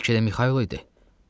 Bəlkə də Mixaylo idi.